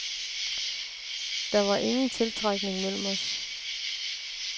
Der var ingen tiltrækning mellem os.